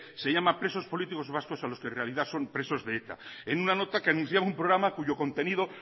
se llama presos políticos vascos a los que en realidad son presos de eta en una nota que anunciaba un programa cuyo contenido